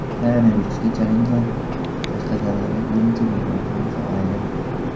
Koronavirusga chalingan qashqadaryolik birinchi bemor ham sog‘aydi.